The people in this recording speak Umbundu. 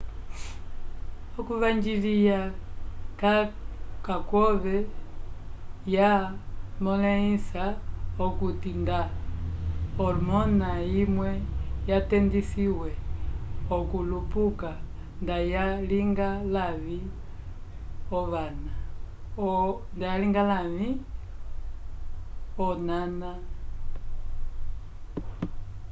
okuvanjilya ka kwove ya molehisa okuti nda hormona imwe yanndedisiwe okulupuka nda ya linga lavi onana